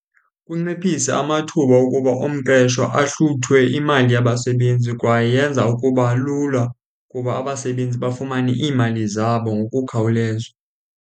Kunciphisa amathuba okuba umqeshwa ahluthwe imali yabasebenzi kwaye yenza ukuba lula kuba abasebenzi bafumane iimali zabo ngokukhawuleza.